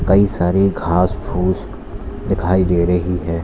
कई सारे घास फूस दिखाई दे रही है।